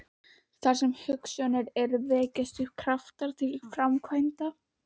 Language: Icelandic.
Þar sem hugsjónir eru, vekjast upp kraftar til framkvæmda.